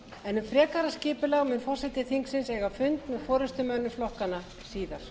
en um frekara skipulag mun forseti þingsins eiga fund með